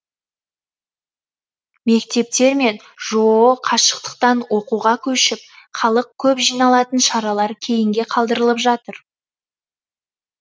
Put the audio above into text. мектептер мен жоо қашықтықтан оқуға көшіп халық көп жиналатын шаралар кейінге қалдырылып жатыр